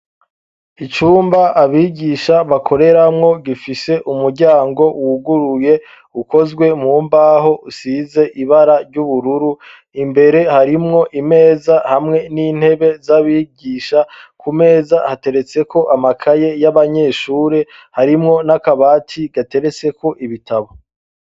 Icumba abigisha bakoreramwo gifishe umuryango wuguruye ukozwe mu mbaho usize ibara ry'ubururu, imbere harimwo imeza hamwe n'intebe z'abigisha, ku meza hateretseko amakaye y'abanyeshuri, harimwo n'akabati gatereteko ibitabo.